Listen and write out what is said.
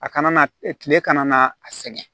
A kana na tile kana na a sɛgɛn